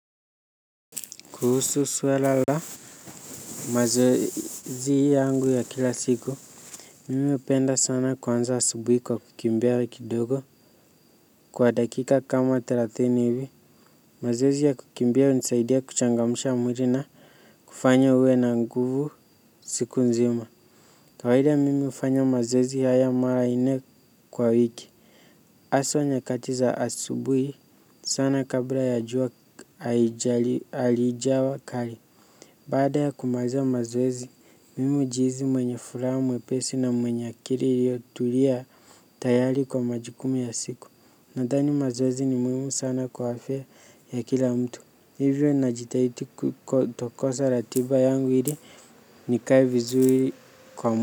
Kuhusu swala la. Mazoezi yangu ya kila siku. Mimi hupenda sana kuanza asubuhi kwa kukimbia kidogo. Kwa dakika kama thelathini hivi. Mazoezi ya kukimbia hunisaidia kuchangamsha mwili na kufanya uwe na nguvu siku nzima. Kawaida mimi hufanya mazoezi haya mara ine kwa wiki. Aswa nyakati za asubuhi sana kabla ya jua alijawa kali. Baada ya kumaliza mazoezi, mimi hujihisi mwenye furaha mwepesi na mwenye akili ilio tulia tayari kwa majukumu ya siku. Nadhani mazoezi ni muhimu sana kwa afya ya kila mtu. Hivyo najitaidi kutokosa ratiba yangu ili nikae vizuri kwa mtu.